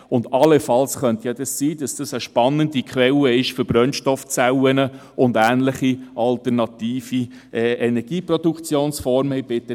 Es könnte allenfalls sein, dass dies eine spannende Quelle für Brennstoffzellen und ähnliche alternative Energieproduktionsformen ist.